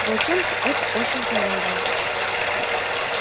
волчонку это очень понравилось